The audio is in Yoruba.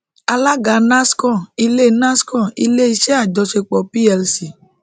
alága nascon ile nascon ile iṣẹ ajọṣepọ plc